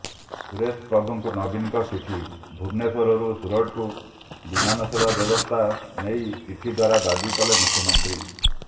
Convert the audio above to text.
ସୁରେଶ ପ୍ରଭୁଙ୍କୁ ନବୀନଙ୍କ ଚିଠି ଭୁବନେଶ୍ୱରରୁ ସୁରଟକୁ ବିମାନ ସେବା ବ୍ୟବସ୍ଥା ନେଇ ଚିଠି ଦ୍ୱାରା ଦାବି କଲେ ମୁଖ୍ୟମନ୍ତ୍ରୀ